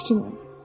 Heç kimin.